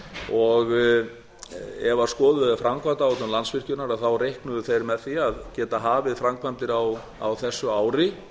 og ef skoðuð er framkvæmdaáætlun landsvirkjunar reiknuðu þeir með því að geta hafið framkvæmdir á þessu ári